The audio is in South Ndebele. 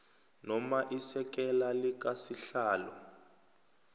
noma isekela likasihlalo